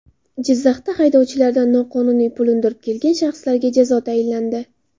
Jizzaxda haydovchilardan noqonuniy pul undirib kelgan shaxslarga jazo tayinlandi.